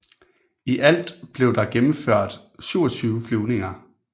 I alt blev der gennemført 27 flyvninger